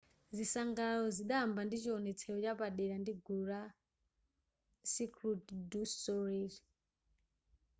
zisangalalo zidayamba ndi chiwonetsero chapadera ndi gulu la cirquel du soleil